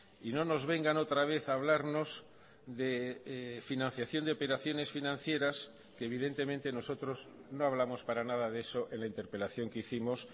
y no nos vengan otra vez a hablarnos de financiación de operaciones financieras que evidentemente nosotros no hablamos para nada de eso en la interpelación que hicimos